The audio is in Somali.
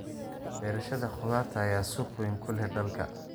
Beerashada khudaarta ayaa suuq weyn ku leh dalka.